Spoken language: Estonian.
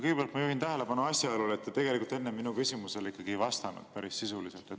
Kõigepealt ma juhin tähelepanu asjaolule, et te tegelikult enne minu küsimusele ei vastanud päris sisuliselt.